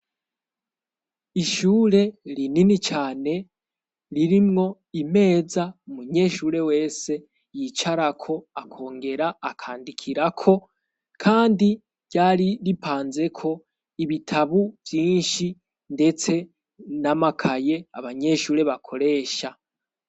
Ishure rinini cane ririmwo imeza umunyeshure wese yicarako, akongera akandikirako. Kandi ryari ripanzeko ibitabu vyinshi ndetse n'amakaye abanyeshure bakoresha.